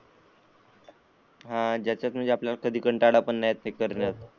आणि ज्यातून आपल्याला कधी कंटाळा पण येत नाही ते करण्यात.